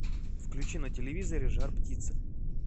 включи на телевизоре жар птица